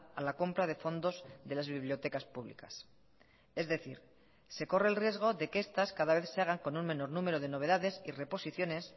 a la compra de fondos de las bibliotecas públicas es decir se corre el riesgo de que estas cada vez se hagan con un menor número de novedades y reposiciones